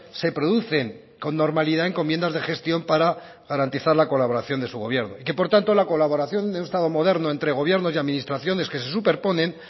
se producen con normalidad encomiendas de gestión para garantizar la colaboración de su gobierno que por tanto la colaboración de un estado moderno entre gobierno y administraciones que se superponen